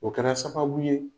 O kɛra sababu ye